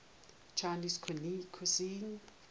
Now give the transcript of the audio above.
chinese cuisine